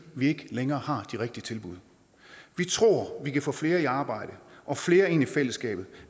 vi ikke længere har de rigtige tilbud vi tror vi kan få flere i arbejde og flere ind i fællesskabet